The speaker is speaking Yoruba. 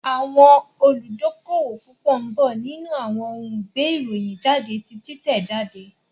Àwọn olùdókówò púpọ̀ ń bọ̀ nínú àwọn ohun gbé ìròyìn jáde ti títẹ̀ jáde